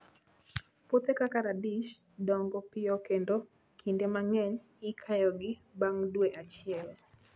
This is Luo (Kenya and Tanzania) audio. Puothe kaka radish, dongo piyo kendo kinde mang'eny ikayogi bang' dwe achiel.